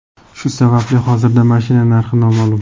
Shu sababli hozirda mashina narxi noma’lum.